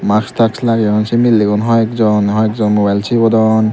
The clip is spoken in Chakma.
mask task lageyon se milegun hoiekjon hoiekjon mobile segodon.